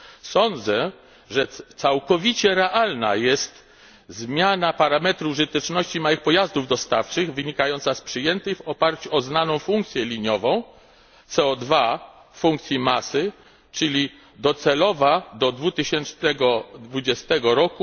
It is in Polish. Sądzę, że całkowicie realna jest zmiana parametru użyteczności małych pojazdów dostawczych wynikająca z przyjętej w oparciu o znaną funkcję liniową CO 2 w funkcji masy, czyli docelowej do 2020 r.